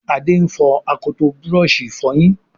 Ade ń fo akọtọ Búrọ̀ọ̀ṣì ìfọyín